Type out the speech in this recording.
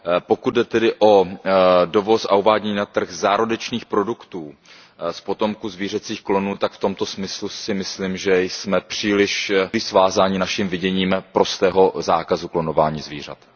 Pokud jde o dovoz a uvádění na trh zárodečných produktů z potomků zvířecích klonů, tak v tomto smyslu si myslím, že jsme příliš svázáni naším viděním prostého zákazu klonování zvířat.